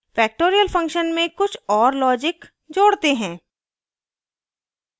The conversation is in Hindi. factorial function में कुछ और logic जोडते हैं